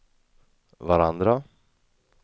varandra